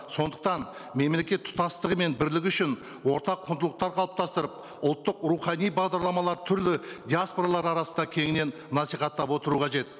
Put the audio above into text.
сондықтан мемлекет тұтастығы мен бірлігі үшін ортақ құндылықтар қалыптастырып ұлттық рухани бағдарламалар түрлі диаспоралар арасында кеңінен насихаттап отыру қажет